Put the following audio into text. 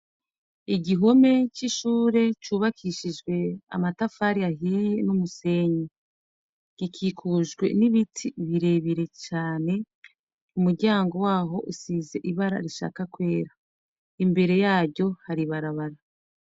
Igihome c'ishure cubakishijwe amatafari ahiye n'umusenyi. Gikikujwe n'ibiti bire bire cane, umuryango waho usize ibara rishaka kwera. Imbere yaryo hari ibarabara.